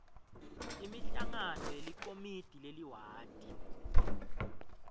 imihlangano yelikomidi leliwadi